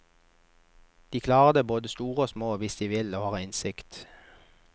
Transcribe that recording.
De klarer det, både store og små, hvis de vil og har innsikt.